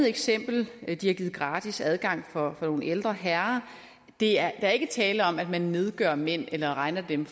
eksempel de har givet gratis adgang for nogle ældre herrer der er ikke tale om at man nedgør mænd eller regner dem